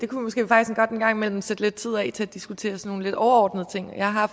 kunne måske faktisk godt en gang imellem sætte lidt tid af til at diskutere sådan nogle lidt overordnede ting jeg har